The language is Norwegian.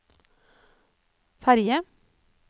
ferge